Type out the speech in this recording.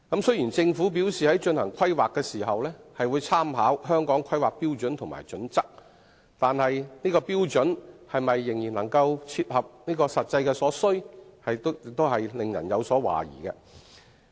雖然政府表示在進行規劃時會參考《香港規劃標準與準則》，但有關標準是否仍然能夠切合實際所需，實在令人懷疑。